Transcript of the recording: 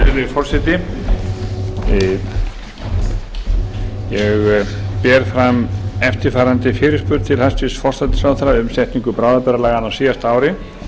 forseti ég ber fram eftirfarandi fyrirspurn til hæstvirts forsætisráðherra um setningu bráðabirgðalaganna á síðasta ári